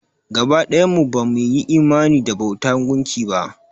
Gaba ɗayan mu ba mu yi imani da bauta gunki ba.